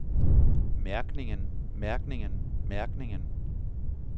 mærkningen mærkningen mærkningen